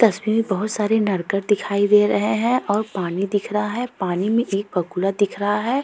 तस्वीर मे बहुत सारे नरकट दिखाई दे रहे हैं और पानी दिख रहा है। पानी भी एक बगुला दिख रहा है।